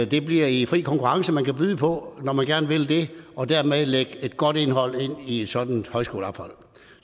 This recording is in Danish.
det bliver i fri konkurrence man kan byde på det når man gerne vil det og dermed lægge et godt indhold ind i et sådant højskoleophold